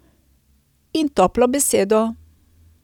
In toplo besedo.